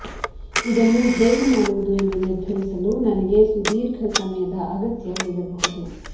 ಇದನ್ನು ಹೇಗೆ ಮಾಡುವುದು ಎಂದು ನಿರ್ಧರಿಸಲು ನನಗೆ ಸುದೀರ್ಘ ಸಮಯದ ಅಗತ್ಯ ಬೀಳಬಹುದು